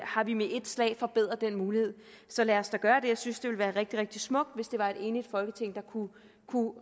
har vi med ét slag forbedret den mulighed så lad os da gøre det jeg synes det ville være rigtig rigtig smukt hvis det var et enigt folketing der kunne